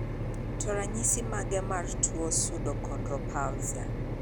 To ranyisi mage mar tuo Pseudoachondroplasia?